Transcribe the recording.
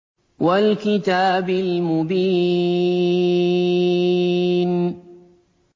وَالْكِتَابِ الْمُبِينِ